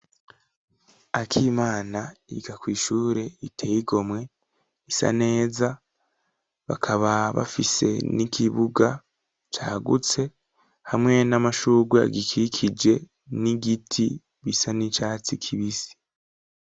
Akimana yiga kw' ishure riteyigomwe, isa neza ,bakaba bafise n'ikibuga cagutse hamwe n'amashugwe agikikije n'igiti bisa n'icatsi kibisi.